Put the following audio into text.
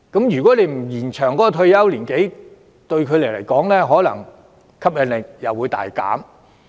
如果不延展退休年齡，對他們的吸引力可能也會大減。